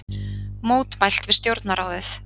Mótmælt við Stjórnarráðið